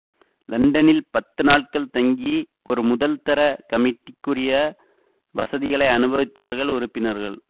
லண்டனில் பத்து நாட்கள் தங்கி ஒரு முதல்தரக் கமிட்டிக்குரிய வசதிகளை அநுபவித்தார்கள் உறுப்பினர்கள்